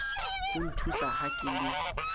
ho nthusa ha ke le